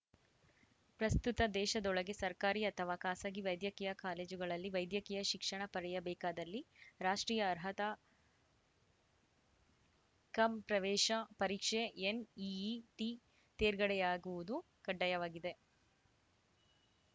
ಪ್ರಸ್ತುತ ದೇಶದೊಳಗೆ ಸರ್ಕಾರಿ ಅಥವಾ ಖಾಸಗಿ ವೈದ್ಯಕೀಯ ಕಾಲೇಜುಗಳಲ್ಲಿ ವೈದ್ಯಕೀಯ ಶಿಕ್ಷಣ ಪಡೆಯಬೇಕಾದಲ್ಲಿ ರಾಷ್ಟ್ರೀಯ ಅರ್ಹತಾ ಕಂ ಪ್ರವೇಶ ಪರೀಕ್ಷೆ ಎನ್‌ಇಇಟಿ ತೇರ್ಗಡೆಯಾಗುವುದು ಕಡ್ಡಾಯವಾಗಿದೆ